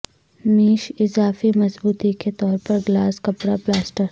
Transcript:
میش اضافی مضبوطی کے طور پر گلاس کپڑا پلاسٹر